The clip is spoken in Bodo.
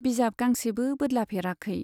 बिजाब गांसेबो बोदलाफेराखै।